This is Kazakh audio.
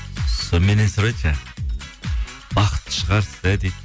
сол меннен сұрайды жаңағы бақытты шығарсыз иә дейді